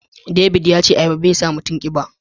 David yace ayaba ba ya sa mutum kiba.